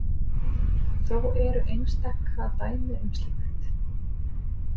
Þó eru einstaka dæmi um slíkt.